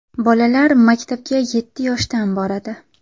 Bolalar maktabga yetti yoshdan boradi.